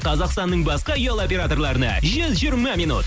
қазақстанның басқа ұялы операторларына жүз жиырма минут